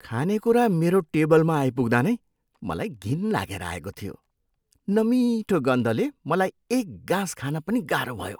खानेकुरा मेरो टेबलमा आइपुग्दा नै मलाई घिन लागेर आएको थियो। नमिठो गन्धले मलाई एक गाँस खान पनि गाह्रो भयो।